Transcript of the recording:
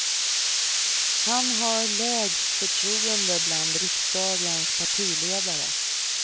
Han har lägst förtroende bland riksdagens partiledare.